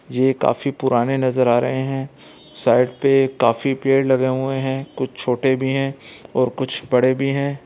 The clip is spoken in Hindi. ये काफी पुराने नज़र आ रहे हैं साइड पे काफी पेड़ लगे हुए हैं कुछ छोटे भी हैं और कुछ बड़े भी हैं।